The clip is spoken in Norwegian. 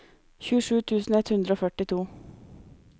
tjuesju tusen ett hundre og førtito